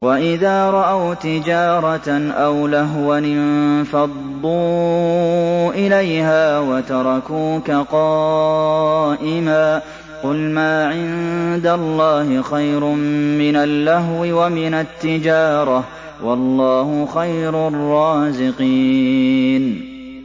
وَإِذَا رَأَوْا تِجَارَةً أَوْ لَهْوًا انفَضُّوا إِلَيْهَا وَتَرَكُوكَ قَائِمًا ۚ قُلْ مَا عِندَ اللَّهِ خَيْرٌ مِّنَ اللَّهْوِ وَمِنَ التِّجَارَةِ ۚ وَاللَّهُ خَيْرُ الرَّازِقِينَ